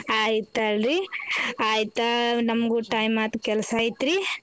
ಆಯ್ತಲ್ಲರೀ ಆಯ್ತ ನಮಗೂ time ಆಯ್ತ ಕೆಲ್ಸ ಐತ್ರೀ.